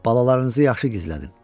Balalarınızı yaxşı gizlədin.